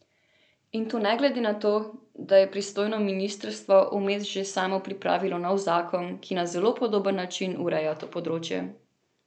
In to ne glede na to, da je pristojno ministrstvo vmes že samo pripravilo nov zakon, ki na zelo podoben način ureja to področje.